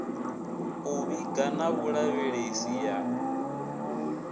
u vhiga na vhulavhelesi ya